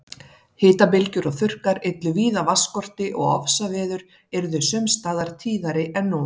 Hitabylgjur og þurrkar yllu víða vatnsskorti og ofsaveður yrðu sums staðar tíðari en nú.